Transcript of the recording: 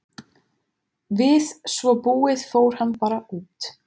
Við svo búið fór hann bara út.